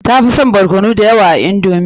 Tafi son barkono da yawa a indomi ta.